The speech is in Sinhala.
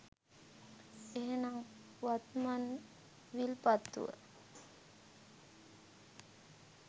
එනම් වත්මන් විල්පත්තුව